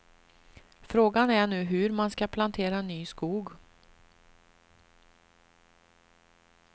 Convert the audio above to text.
Frågan är nu hur man ska plantera ny skog.